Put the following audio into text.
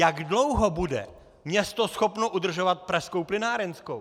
Jak dlouho bude město schopno udržovat Pražskou plynárenskou?